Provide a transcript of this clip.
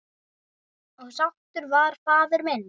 Og sáttur var faðir minn.